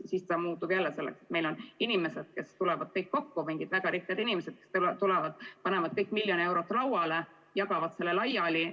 Siis see muutub jälle selleks, et meil on mingid väga rikkad inimesed, kes tulevad kokku, panevad kõik miljon eurot lauale ja jagavad selle laiali.